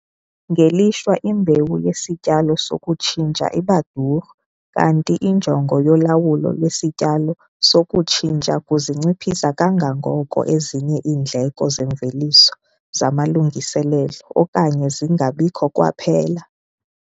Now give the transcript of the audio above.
Ngelishwa imbewu yesityalo sokutshintsha iba duru kanti injongo yolawulo lwesityalo sokutshintsha kuzinciphisa kangangoko ezinye iindleko zeemveliso zamalungiselelo, okanye zingabikho kwaphela.